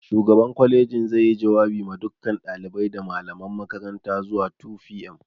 Shugaban kwalejin zai yi jawabi ma dukan ɗalibai da malaman makaranta zuwa 2pm